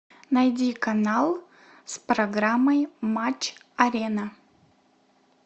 найди канал с программой матч арена